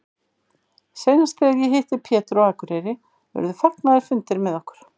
Seinast þegar ég hitti Pétur á Akureyri urðu fagnaðarfundir með okkur.